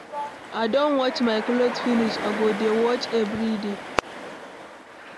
I don watch my cloth finish. I go dey watch everyday.